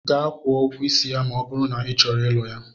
Gaa kwuo ụgwọ isi ya ma ọ bụrụ na ị chọrọ ịlụ ya!